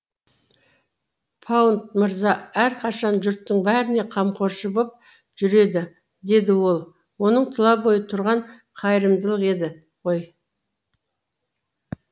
паунд мырза әрқашан жұрттың бәріне қамқоршы боп жүреді деді ол оның тұла бойы тұрған қайырымдылық еді ғой